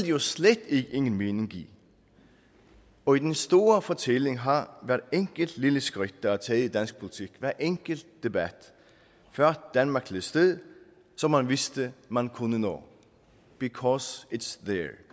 jo slet ingen mening give og i den store fortælling har hvert enkelt lille skridt der er taget i dansk politik og hver enkelt debat ført danmark til et sted som man vidste man kunne nå because its